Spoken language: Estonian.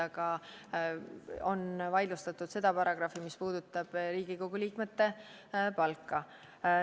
Aga on vaidlustatud seda paragrahvi, mis käsitleb Riigikogu liikmete palka.